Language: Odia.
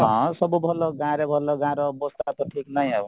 ହଁ ସବୁ ଭଲ ଗାଁ ରେ ଭଲ ଗାଁର ଅବସ୍ଥା ତ ଠିକ ନାହିଁ ଆଉ